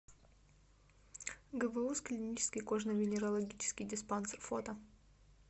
гбуз клинический кожно венерологический диспансер фото